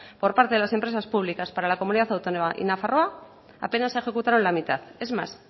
por parte de las empresas públicas para la comunidad autónoma y nafarroa apenas se ejecutaron la mitad es más